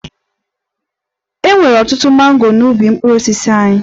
E nwere ọtụtụ mango n'ubi mkpụrụ osisi anyị